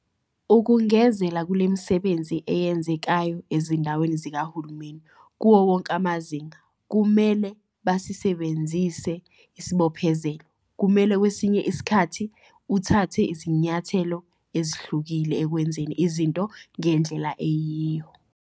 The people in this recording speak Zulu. Ukungezela kulemisebenzi eyenzekayo ezindaweni zikahulumeni, kuwo wonke amazinga, kumele basisebenzise isibophezelo, kumele kwesinye isikhathi uthathe izinyathelo ezehlukile ekwenzeni izinto ngendlela eyiyo.